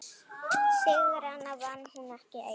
Sigrana vann hún ekki ein.